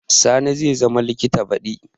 Sani zai zama likita baɗi